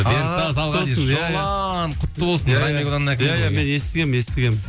иә мен естігемін естігемін